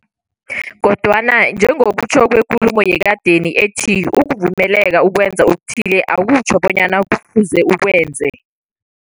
Kodwana njengokutjho kwekulumo yekadeni ethi, ukuvumeleka ukwenza okuthile, akutjho bonyana kufuze ukwenze.